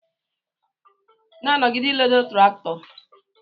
Na nọgide iledo traktọ!!